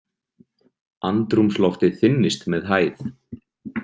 Andrúmsloftið þynnist með hæð.